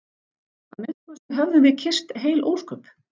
Að minnsta kosti höfðum við kysst heil ósköp.